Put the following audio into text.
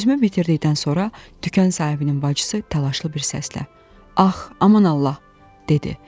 Sözümü bitirdikdən sonra dükan sahibinin bacısı təlaşlı bir səslə: Ax, aman Allah, dedi.